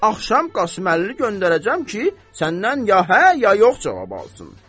Axşam Qasıməllini göndərəcəm ki, səndən ya hə, ya yox cavab alsın.